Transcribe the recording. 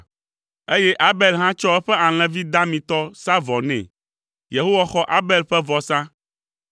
eye Abel hã tsɔ eƒe alẽvi damitɔ sa vɔ nɛ. Yehowa xɔ Abel ƒe vɔsa,